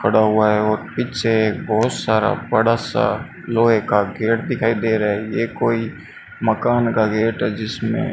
पड़ा हुआ है और पीछे बहुत सारा बड़ा सा लोहे का गेट दिखाई दे रहा है यह कोई मकान का गेट है जिसमें--